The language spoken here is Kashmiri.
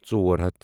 ژور ہتھ